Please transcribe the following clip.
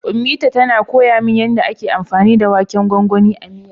Ummita tana koya min yanda ake anfani da waken gwangwanin a miyar.